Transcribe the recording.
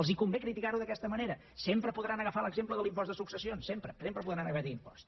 els convé criticar ho d’aquesta manera sempre podran agafar l’exemple de l’impost de successions sempre sempre podran agafar aquest impost